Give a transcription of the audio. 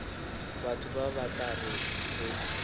batho ba tla reng ge